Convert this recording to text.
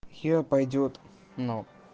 хер пойдёт ну